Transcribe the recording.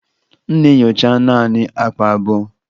M na-enyocha naanị akpa abụọ.